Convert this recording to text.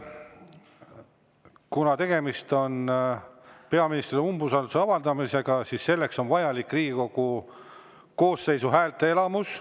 Kuna tegemist on peaministrile umbusalduse avaldamisega, siis selleks on vajalik Riigikogu koosseisu häälteenamus.